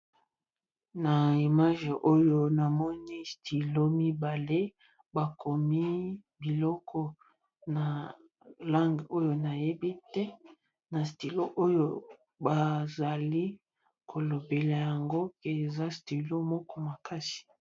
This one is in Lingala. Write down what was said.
Na image oyo namoni stilo mibale bakomi biloko na lange oyo nayebi te na stilo oyo bazali kolobela yango pe eza stilo moko makasi.